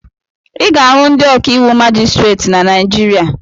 Ị ga-ahụ ndị ọkàiwụ majistreti na Naijiria